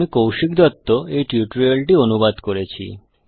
আমি কৌশিক দত্ত এই টিউটোরিয়াল টি অনুবাদ করেছি